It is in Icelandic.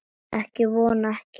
Ég vona ekki